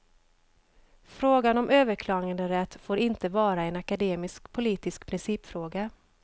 Frågan om överklaganderätt får inte vara en akademisk politisk principfråga.